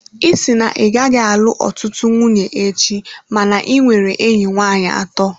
Ị sị na ị gaghị alụ ọtụtụ nwunye echi, mana ị nwere enyi nwanyị atọ.